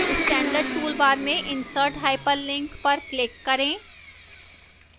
standard toolbar में insert hyperlink icon पर click करें